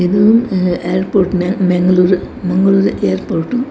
ಇದು ಅಹ್ ಏರ್ಪೋಟ್ನ ಮಂಗಳೂರು ಮಂಗಳೂರು ಏರ್ಪೋರ್ಟ್ .